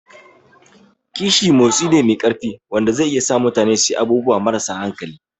Kishi motsi ne mai ƙarfi wanda zai iya sa mutane su yi abubuwa marasa hankali.